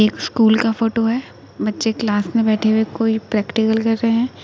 एक स्कूल का फोटो है | बच्चे क्लास में बैठे हुए कोई प्रैक्टिकल कर रहे हैं।